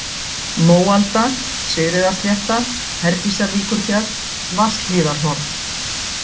Móalda, Sigríðarslétta, Herdísarvíkurfjall, Vatnshlíðarhorn